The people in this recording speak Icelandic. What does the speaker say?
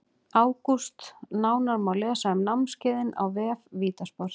ÁGÚST Nánar má lesa um námskeiðin á vef VITA sport.